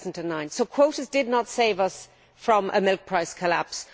2009. So quotas did not save us from a milk price collapse.